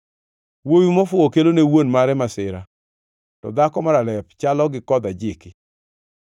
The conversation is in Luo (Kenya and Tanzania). Wuowi mofuwo kelone wuon mare masira, to dhako maralep chalo gi kodh ajiki.